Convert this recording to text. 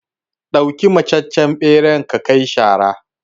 ɗauki mataccen ɓeran ka kai shara